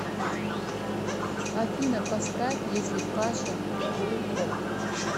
афина поставь если паша прурок